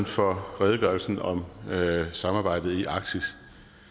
for redegørelsen om samarbejdet i arktis